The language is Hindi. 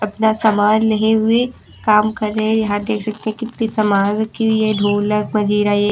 यह सामान लगे हुए काम कर रहे हैं यहां देख सकते कितनी सामान रखी हुई है ढोलक मजीरा ये--